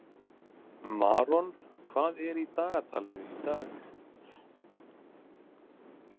Maron, hvað er í dagatalinu í dag?